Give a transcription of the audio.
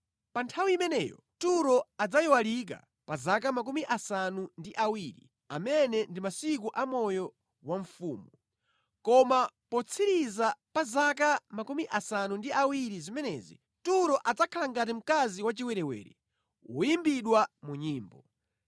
Pa nthawi imeneyo Turo adzayiwalika pa zaka 70, amene ndi masiku a moyo wa mfumu. Koma potsiriza pa zaka 70 zimenezi, Turo adzakhala ngati mkazi wachiwerewere woyimbidwa mu nyimbo: